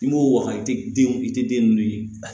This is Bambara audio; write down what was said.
I m'o waga i tɛ denw i tɛ den ninnu ye